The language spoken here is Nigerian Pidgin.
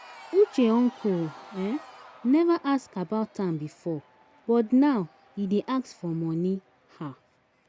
Uche uncle um never ask about am before but now he dey ask for money um.